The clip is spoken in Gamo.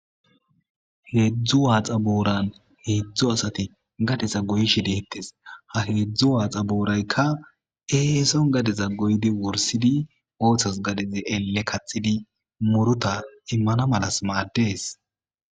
Hezu waxa boran hezu asati gadeza goyishe de'etes ha hezu waxa borayika esoni gadeza goyi wurisidi ele kathidi muruta imana malas mades